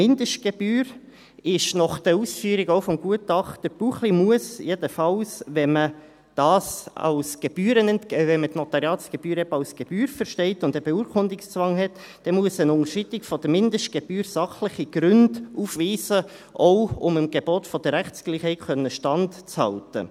Dritter Punkt: Nach den Ausführungen von Gutachter Buchli muss die Unterschreitung der Mindestgebühr – jedenfalls, wenn man die Notariatsgebühren eben als Gebühr versteht und einen Beurkundungszwang hat – sachliche Gründe aufweisen, um auch dem Gebot der Rechtsgleichheit standhalten zu können.